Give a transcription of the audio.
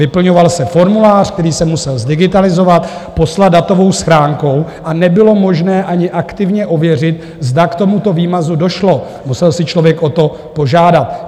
Vyplňoval se formulář, který se musel zdigitalizovat, poslat datovou schránkou a nebylo možné ani aktivně ověřit, zda k tomuto výmazu došlo, musel si člověk o to požádat.